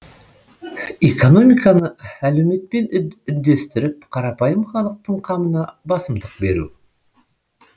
экономиканы әлеуметпен үндестіріп қарапайым халықтың қамына басымдық беру